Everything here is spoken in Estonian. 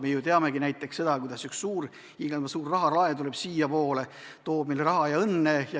Me ju teame näiteks seda, kuidas üks hiiglama suur rahalaev tuleb siiapoole, toob meile raha ja õnne.